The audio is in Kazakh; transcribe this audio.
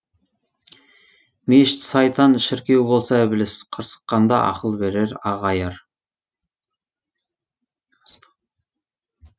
мешіт сайтан шіркеу болса ібіліс қырсыққанда ақыл берер аға аяр